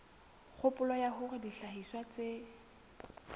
kgopolo ya hore dihlahiswa tse